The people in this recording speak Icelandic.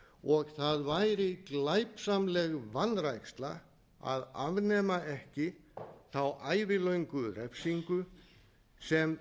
og það væri glæpsamleg vanræksla að afnema ekki þá ævilöngu refsingu sem